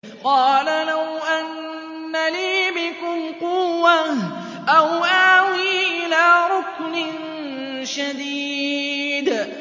قَالَ لَوْ أَنَّ لِي بِكُمْ قُوَّةً أَوْ آوِي إِلَىٰ رُكْنٍ شَدِيدٍ